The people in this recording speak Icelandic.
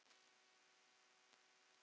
Þar leið þeim best.